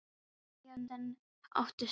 Þau máttu ekki eigast en áttust þó.